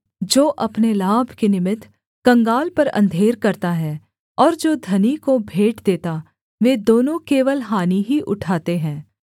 जो अपने लाभ के निमित्त कंगाल पर अंधेर करता है और जो धनी को भेंट देता वे दोनों केवल हानि ही उठाते हैं